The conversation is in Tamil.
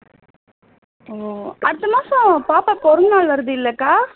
அடுத்த மாசம் பாப்பா பிறந்தநாள் வருது இல்ல அக்கா